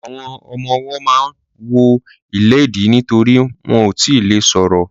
Àwọn ọmọwọ́ ma ń wọ ìléèdí nítorí wọn ò tíì le ṣọ̀rọ̀.